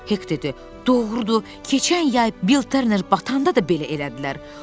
Hek dedi: Doğrudur, keçən yay Bil Turner batanda da belə elədilər.